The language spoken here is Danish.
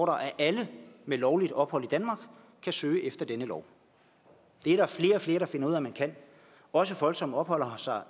at alle med lovligt ophold i danmark kan søge efter denne lov det er der flere og flere der finder ud af man kan også folk som opholder sig